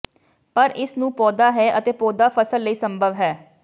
ਪਰ ਇਸ ਨੂੰ ਪੌਦਾ ਹੈ ਅਤੇ ਪੌਦਾ ਫਸਲ ਲਈ ਸੰਭਵ ਹੈ